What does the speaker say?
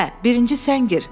Hə, birinci sən gir.